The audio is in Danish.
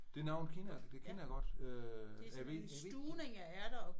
Det navn kender jeg det kender jeg godt øh jeg ved jeg ved